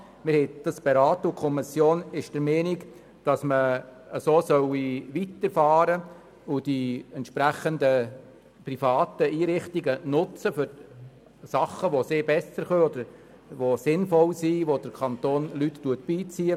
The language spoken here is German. Sie hat es beraten und ist der Meinung, dass man so weiterfahren und die entsprechenden privaten Einrichtungen für Aufgaben nutzen solle, die sie besser können oder bei denen es sinnvoll ist, dass der Kanton Private beizieht.